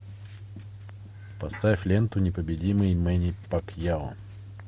поставь ленту непобедимый мэнни пакьяо